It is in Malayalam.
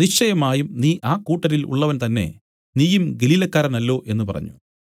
നിശ്ചയമായും നീ ആ കൂട്ടരിൽ ഉള്ളവൻ തന്നെ നീയും ഗലീലക്കാരനല്ലോ എന്നു പറഞ്ഞു